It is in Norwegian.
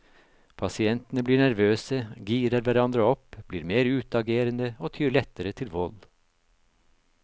Pasientene blir nervøse, girer hverandre opp, blir mer utagerende og tyr lettere til vold.